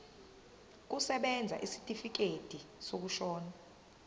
kusebenza isitifikedi sokushona